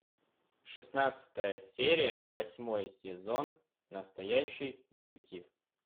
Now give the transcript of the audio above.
шестнадцатая серия восьмой сезон настоящий детектив